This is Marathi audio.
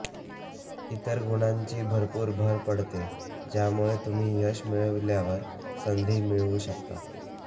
इतर गुणांची भरपूर भर पडते ज्यामुळे तुम्ही यश मिळविल्यावर संधी मिळवू शकता